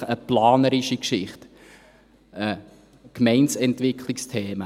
so ist es eine planerische Geschichte, es sind Gemeindeentwicklungsthemen.